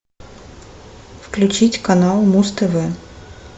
включить канал муз тв